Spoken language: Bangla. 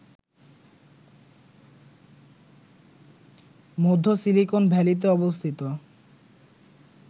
মধ্য সিলিকন ভ্যালীতে অবস্থিত